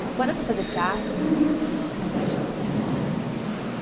Porque quando eu fui fazer teatro, nunca me imaginei fazendo teatro para criança.